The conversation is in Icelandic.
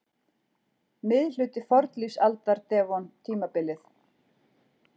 Miðhluti fornlífsaldar- devon-tímabilið.